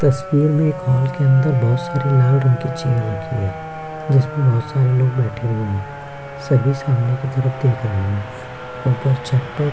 तस्वीर में एक हॉल के अंदर बहुत सारी लाल रंग की चेयर रखी है जिसमें बहुत सारे लोग बैठे हुए हैं सभी सामने की तरफ देख रहे हैं ऊपर छत पर --